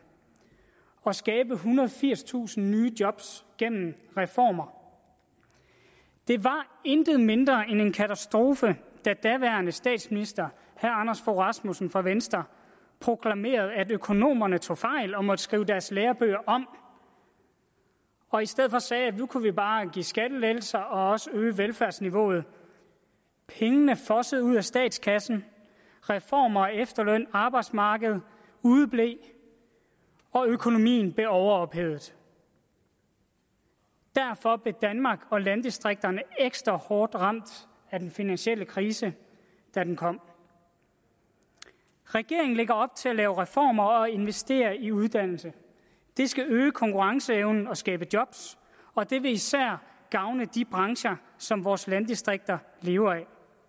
og skabe ethundrede og firstusind nye job gennem reformer det var intet mindre end en katastrofe da daværende statsminister anders fogh rasmussen fra venstre proklamerede at økonomerne tog fejl og måtte skrive deres lærebøger om og i stedet for sagde at vi nu bare kunne give skattelettelser og øge velfærdsniveauet pengene fossede ud af statskassen reformer af efterløn og arbejdsmarked udeblev og økonomien blev overophedet derfor blev danmark og landdistrikterne ekstra hårdt ramt af den finansielle krise da den kom regeringen lægger op til at lave reformer og investere i uddannelse det skal øge konkurrenceevnen og skabe job og det vil især gavne de brancher som vores landdistrikter lever af